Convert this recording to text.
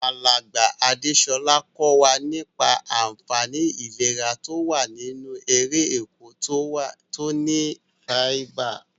Alàgbà Adésolà ko wa nípa ànfaní ìlera to wa nínú erè oko to ni fáíbà